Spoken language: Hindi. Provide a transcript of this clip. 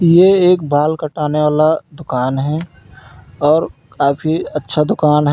ये एक बाल काटने वाला दुकान है और काफी अच्छा दुकान है।